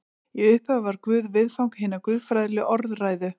Í upphafi var Guð viðfang hinnar guðfræðilegu orðræðu.